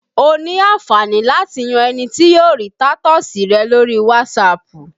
O ní àǹfààní láti yan ẹni tí yóò rí tatọ́ọ̀sì rẹ lórí Wasapu